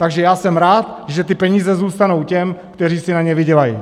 Takže já jsem rád, že ty peníze zůstanou těm, kteří si na ně vydělají.